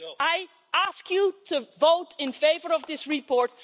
I ask the House to vote in favour of this report.